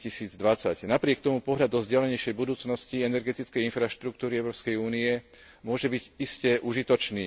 2020. Napriek tomu pohľad do vzdialenejšej budúcnosti energetickej infraštruktúry Európskej únie môže byť iste užitočný.